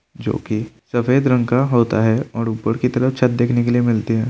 जो की सफ़ेद रंग का होता हैं और ऊपर की तरफ छत देखने के लिए मिलती हैं।